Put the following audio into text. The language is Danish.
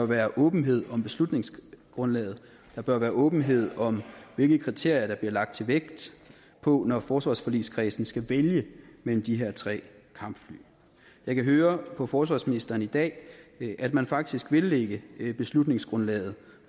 være åbenhed om beslutningsgrundlaget at der bør være åbenhed om hvilke kriterier der bliver lagt vægt på når forsvarsforligskredsen skal vælge mellem de her tre kampfly jeg kan høre på forsvarsministeren i dag at man faktisk vil lægge beslutningsgrundlaget